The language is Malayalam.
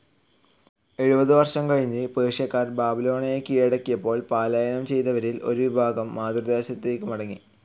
എഴുപത് വർഷം കഴിഞ്ഞ് പേർഷ്യാക്കാർ ബാബിലോണയെ കിഴടക്കിയപ്പോൾ പലായനം ചെയ്തവരിൽ ഒരു വിഭാഗം മാതൃദേശത്തേക്ക് മടങ്ങി.